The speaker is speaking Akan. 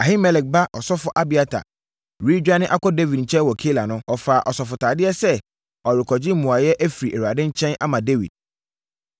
Ahimelek ba Ɔsɔfoɔ Abiatar redwane akɔ Dawid nkyɛn wɔ Keila no, ɔfaa asɔfotadeɛ sɛ ɔrekɔgye mmuaeɛ afiri Awurade nkyɛn ama Dawid.